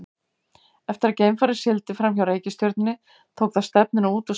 Eftir að geimfarið sigldi fram hjá reikistjörnunni tók það stefnuna út úr sólkerfinu okkar.